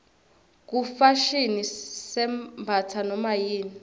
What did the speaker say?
kufashini sembatsa nomayini